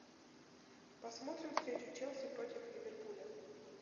посмотрим встречу челси против ливерпуля